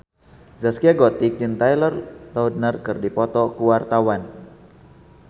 Zaskia Gotik jeung Taylor Lautner keur dipoto ku wartawan